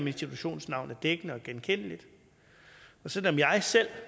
institutions navn er dækkende og genkendeligt og selv om jeg selv